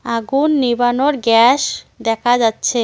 আগুন নেভানোর গ্যাস দেখা যাচ্ছে।